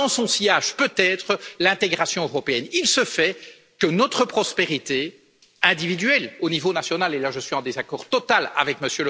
Et dans son sillage, peut être, l'intégration européenne. Il se fait que notre prospérité, individuelle au niveau national et là je suis en désaccord total avec